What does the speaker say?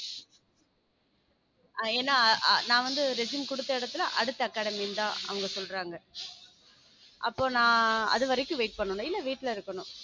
ஏனா நா வந்து resume குடுத்த இடத்துல அடுத்த academy இருந்தா அவங்க சொல்றாங்க அப்போ நா அது வரைக்கும் wait பண்ணணும் இல்ல வீட்ல இருக்கணும்